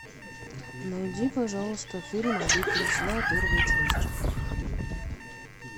найди пожалуйста фильм обитель зла первую часть